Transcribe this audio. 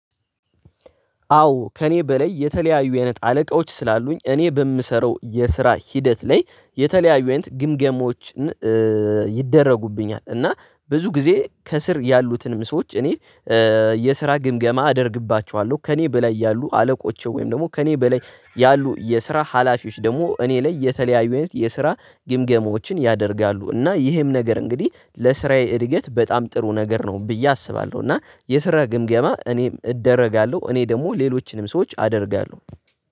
አዎ ከእኔ በላይ የተለያዩ አይነት አለቆች ስላሉኝ እኔ በምሰራው የስራ ሂደት ላይ የተለያዩ አይነት ግምገሞችን ይደረጉብኛል እና ብዙ ጊዜ ከስር ያሉትንም ሰዎች እኔ የስራ ግምገማ አደርግባቸዋለሁ። ከእኔ በላይ ያሉ አለቆቼ ወይም ደግሞ ከእኔ በላይ ያሉ የስራ ሀላፊዎች ደግሞ እኔ ላይ የተለያዩ የስራ ግምገማዎችን ያደርጋሉ እና ይህም ነገር እንግዲህ ለስራዬ እድገት በጣም ጥሩ ነገር ነው ብዬ አስባለሁ። እና የስራ ግምገማ እኔም እደረጋለሁ እኔ ደግሞ ሌሎችንም ሰዎች አደርጋለሁ።